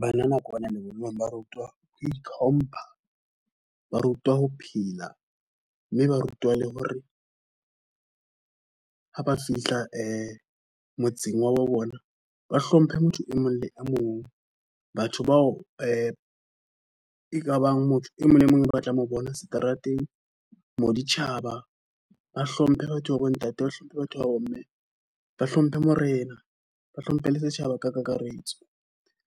Banana kwana lebollong ba rutwa ho itlhompha, ba rutwa ho phela, mme ba rutwa le hore ha ba fihla motseng wa bona, ba hlomphe motho e mong le mong. Batho bao e kabang motho e mong le mong o batlang ho bona seterateng, moditjhaba, ba hlomphe batho ba bo ntate, ba hlomphe batho ba bo mme, ba hlomphe Morena, ba hlomphe le setjhaba ka kakaretso.